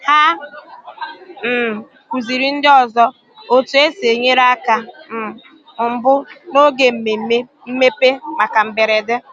Hà um kụzìrì ndị ọzọ otú e si enyere aka um mbụ n’oge mmemme mmepe maka mberede.